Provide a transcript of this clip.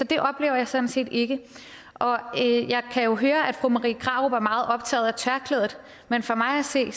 det oplever jeg sådan set ikke jeg kan jo høre at fru marie krarup er meget optaget af tørklædet men for mig at se